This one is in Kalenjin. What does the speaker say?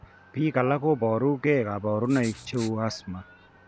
Biik alak koboru gee kabarunaik cheuu asthma